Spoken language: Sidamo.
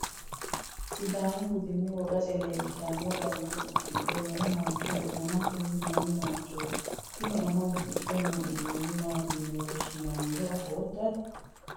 sudaamu budenna wogasi leelishshanno garinni udidhe noo mancho woy ama tini mami manchoti? tini ama uddidhe noo uddano maati yine woshshinanniro afootto ati?